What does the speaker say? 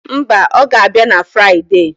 Mba, ọ ga-abịa na Friade.